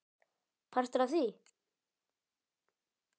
Partur af því?